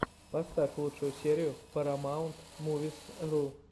поставь лучшую серию парамаунтмувисру